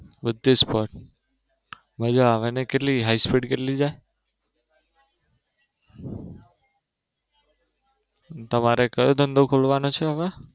બધી sports મજા આવે નઈ કેટલી high speed કેટલી છે? તમારે કયો ધંધો ખોલવાનો છે હવે